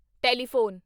telephone